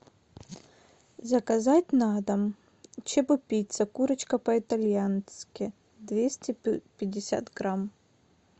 заказать на дом чебупицца курочка по итальянски двести пятьдесят грамм